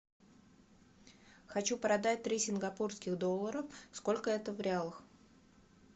хочу продать три сингапурских доллара сколько это в реалах